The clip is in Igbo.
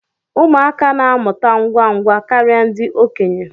Ụmụaka na-amụta ngwa ngwa karịa ndị okenye